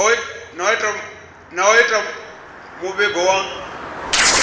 na u ita muvhigo wa